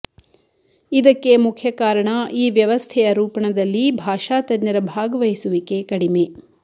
ಇದಕ್ಕೆ ಮುಖ್ಯ ಕಾರಣ ಈ ವ್ಯವಸ್ಥೆಯ ರೂಪಣದಲ್ಲಿ ಭಾಷಾ ತಜ್ಞರ ಭಾಗವಹಿಸುವಿಕೆ ಕಡಿಮೆ